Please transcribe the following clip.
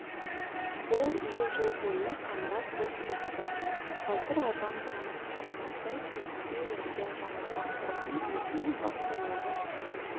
бұл үй жыл бойы қаңырап бос тұрыпты қазір адам танымастай кейіпке енген жаңарған тұрғын үйден бас-аяғы